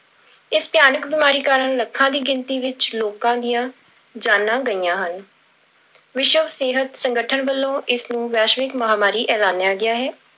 ਇਸ ਭਿਆਨਕ ਬਿਮਾਰੀ ਕਾਰਨ ਲੱਖਾਂ ਦੀ ਗਿਣਤੀ ਵਿੱਚ ਲੋਕਾਂ ਦੀਆਂ ਜਾਨਾਂ ਗਈਆਂ ਹਨ ਵਿਸ਼ਵ ਸਿਹਤ ਸੰਗਠਨ ਵੱਲੋ ਇਸ ਨੂੰ ਵੈਸ਼ਵਿਕ ਮਹਾਂਮਾਰੀ ਐਲਾਨਿਆ ਗਿਆ ਹੈ।